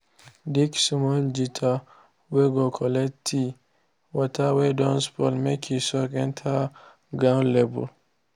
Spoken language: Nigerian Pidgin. dig small gutter whey go collect tea water whey don spoil make he soak enter the ground well